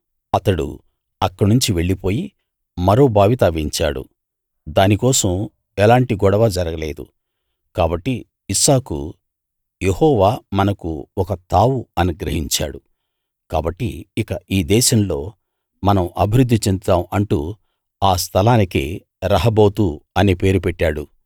అతడు అక్కడ్నించి వెళ్ళిపోయి మరో బావి తవ్వించాడు దానికోసం ఎలాంటి గొడవా జరగలేదు కాబట్టి ఇస్సాకు యెహోవా మనకు ఒక తావు అనుగ్రహించాడు కాబట్టి ఇక ఈ దేశంలో మనం అభివృద్ధి చెందుతాం అంటూ ఆ స్థలానికి రహబోతు అనే పేరు పెట్టాడు